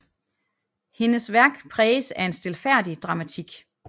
Hendes værk præges af en stilfærdig dramatik